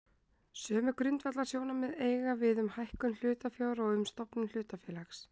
Sömu grundvallarsjónarmið eiga við um hækkun hlutafjár og um stofnun hlutafélags.